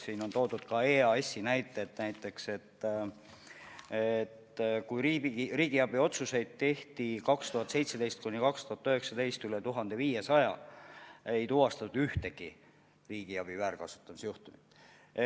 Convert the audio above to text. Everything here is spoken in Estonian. Siin on toodud ka EAS-i näited, näiteks aastatel 2017–2019 tehti üle 1500 riigiabiotsuse, aga ei tuvastatud ühtegi riigiabi väärkasutamise juhtumit.